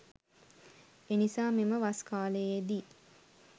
එනිසා මෙම වස් කාලයේ දී